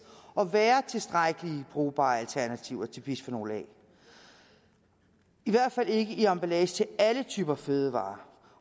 at være tilstrækkeligt brugbare alternativer til bisfenol a i hvert fald ikke i emballage til alle typer fødevarer